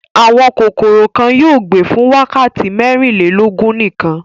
Àwọn kòkòrò kan yóò gbé fún wákàtí mẹ́rìnlélógún nìkan.